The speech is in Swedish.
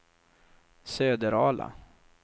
Söderala